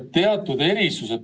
Aitäh, lugupeetud istungi juhataja!